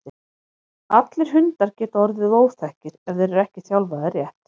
allir hundar geta orðið óþekkir ef þeir eru ekki þjálfaðir rétt